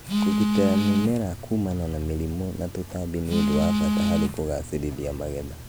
Kũgitĩra mĩmera kuumana na mĩrimũ na tũtambi ũndũ wa bata harĩ kũgaacĩra magetha.